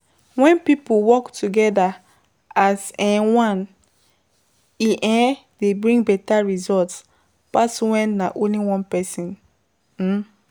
When pipo work together as um one, e um dey bring better result pass when na only one person um